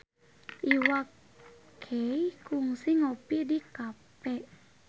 Iwa K kungsi ngopi di cafe